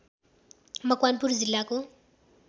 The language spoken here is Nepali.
मकवानपुर जिल्लाको